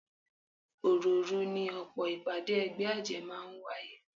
Òròòru ni ọ̀pọ̀ ìpàdé ẹgbẹ́ àjẹ́ máa ń wáyé